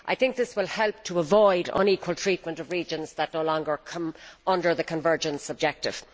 This will help to avoid unequal treatment of regions that no longer come under the convergence objective.